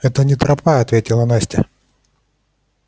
это не тропа ответила настя